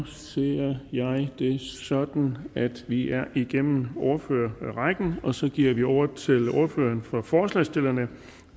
så ser jeg det sådan at vi er igennem ordførerrækken og så giver vi ordet til ordføreren for forslagsstillerne